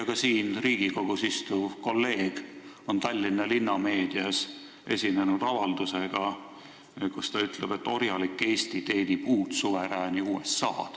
Ka siin Riigikogus istuv kolleeg on Tallinna linnameedias esinenud avaldusega, et orjalik Eesti teenib uut suverääni USA-d.